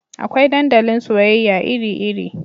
Akwai dandalin soyayya iri iri